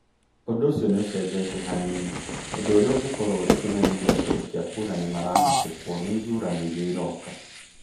"Ũndũ ũcio nĩ ũcenjetie hanini - ũndũ ũrĩa ũngĩkorũo ũrĩ kĩmenyithia atĩ aikia kũũra nĩ maharahatĩkwo nĩ ithurano iria iroka".